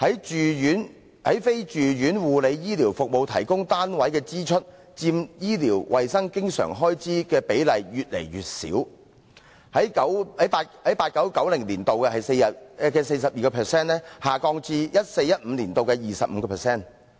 在非住院護理醫療服務提供單位的支出佔醫療衞生經常性開支的比例越來越少，從 1989-1990 年度的 42% 下降至 2014-2015 年度的 25%。